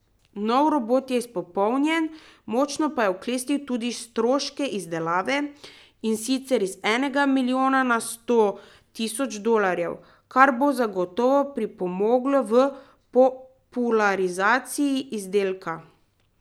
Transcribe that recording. Nov robot je izpopolnjen, močno pa je oklestil tudi stroške izdelave, in sicer iz enega milijona na sto tisoč dolarjev, kar bo zagotovo pripomoglo v popularizaciji izdelka.